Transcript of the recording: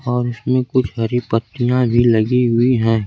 और उसमें कुछ हरी पत्तियां भी लगी हुई हैं।